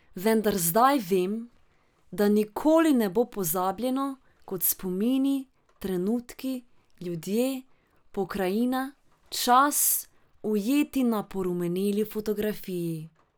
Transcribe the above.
Vendar zdaj vem, da nikoli ne bo pozabljeno, kot spomini, trenutki, ljudje, pokrajina, čas, ujeti na porumeneli fotografiji.